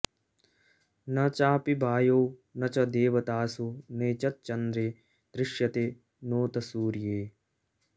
न चापि वायौ न च देवतासु नैतच्चन्द्रे दृश्यते नोत सूर्ये